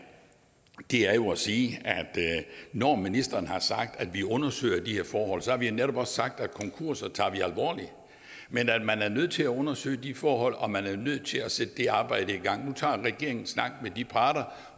det er jo at sige at når ministeren har sagt vi undersøger de her forhold så har vi netop også sagt at konkurser tager vi men at man er nødt til at undersøge de forhold og man er nødt til at sætte det arbejde i gang nu tager regeringen en snak med de parter